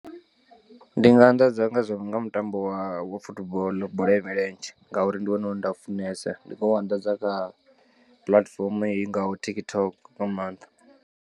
Ndi nga anḓadza nga zwo no nga mutambo wa wa football bola ya milenzhe ngauri ndi wone une nda u funesa ndi nga u anḓadza kha puḽatifomo i ngaho TikTok nga maanḓa.